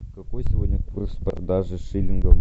какой сегодня курс продажи шиллинга